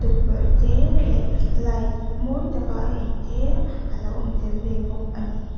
tukverh te leh light mawi taka eng te a lo awm tel ve bawk a ni.